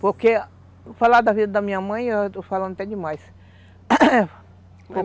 Porque falar da vida da minha mãe, eu estou falando até demais